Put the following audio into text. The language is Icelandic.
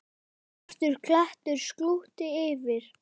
Svartur klettur slútti yfir.